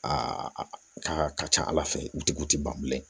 Aa aa a ka ca ala fɛ i tigiw tɛ ban bilen